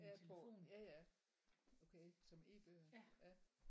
Ja på ja ja okay som E-bøger ja